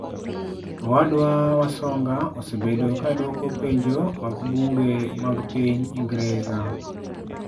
Owadwa wasonga osebedo ka dwoko penjo mag bunge mag piny Ingresa.